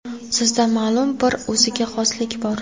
Sizda ma’lum bir o‘ziga xoslik bor.